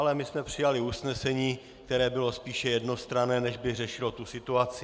Ale my jsme přijali usnesení, které bylo spíše jednostranné, než by řešilo tu situaci.